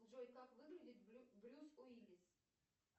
джой как выглядит брюс уиллис